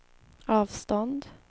avstånd